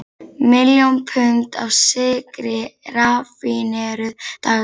Miljón pund af sykri raffíneruð daglega.